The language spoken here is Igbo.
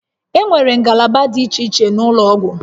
Enwere ngalaba dị iche iche n'ụlọ ọgwụ